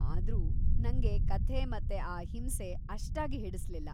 ಆದ್ರೂ ನಂಗೆ ಕಥೆ ಮತ್ತೆ ಆ ಹಿಂಸೆ ಅಷ್ಟಾಗಿ ಹಿಡಿಸ್ಲಿಲ್ಲ.